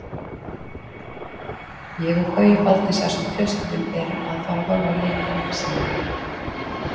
Ég og Gaui Baldvins ásamt fjölskyldum erum að fara að horfa á leikinn saman.